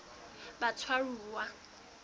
batshwaruwa